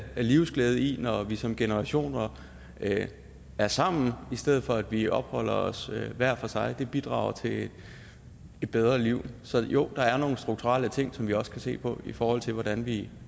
livsglæde i når vi som generationer er er sammen i stedet for at vi opholder os hver for sig det bidrager til et bedre liv så jo der er nogle strukturelle ting som vi også kan se på i forhold til hvordan vi